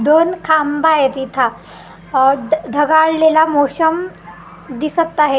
दोन खांब आहेत इथं आह ड ढगाळलेला मोशम दिसत आहे .